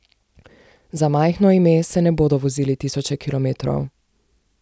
Za majhno ime se ne bodo vozili tisoče kilometrov.